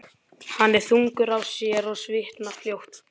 Hann er þungur á sér og svitnar fljótt.